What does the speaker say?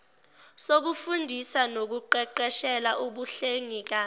sokufundisa nokuqeqeshela ubuhlengikazi